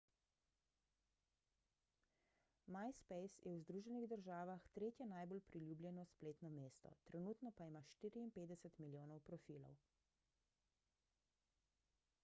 myspace je v združenih državah tretje najbolj priljubljeno spletno mesto trenutno pa ima 54 milijonov profilov